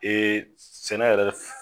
sɛnɛ yɛrɛ